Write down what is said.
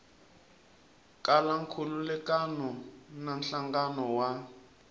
kala nkhulukelano na nhlangano wa